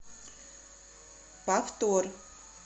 повтор